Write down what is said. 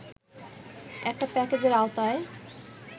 একটা প্যাকেজের আওতায়